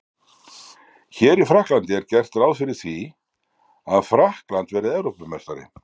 Hér í Frakklandi er gert ráð fyrir því að Frakkland verði Evrópumeistari.